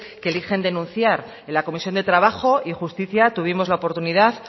que eligen denunciar en la comisión de trabajo y justicia tuvimos la oportunidad